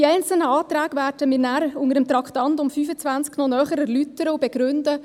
Die einzelnen Anträge werden wir nachher unter dem Traktandum 25 noch näher erläutern und begründen.